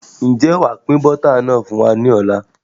Ǹjẹ́ wàá pin Bọ́tà náà fún wa lọ́la bíi?